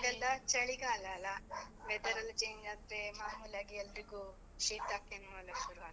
ಈಗೆಲ್ಲ ಚಳಿಗಾಲ ಅಲಾ? weather ಎಲ್ಲ change ಆದ್ರೆ, ಮಾಮೂಲಾಗಿ ಎಲ್ರಿಗೂ ಶೀತ ಕೆಮ್ಮು ಎಲ್ಲ ಶುರು ಆಗತ್ತೆ.